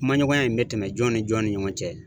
Kumaɲɔgɔnya in bɛ tɛmɛn jɔn ni jɔn ni jɔn ni ɲɔgɔn cɛ?